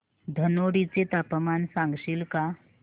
धनोडी चे तापमान सांगशील का